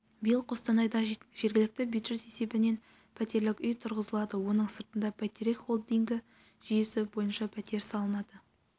биыл қостанайда жергілікті бюджет есебінен пәтерлік үй тұрғызылады оның сыртында бәйтерек холдингі жүйесі бойынша пәтер салынады